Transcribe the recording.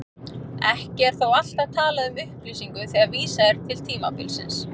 Ekki er þó alltaf talað um upplýsingu þegar vísað er til tímabilsins.